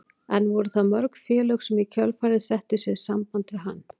En voru það mörg félög sem í kjölfarið settu sig í samband við hann?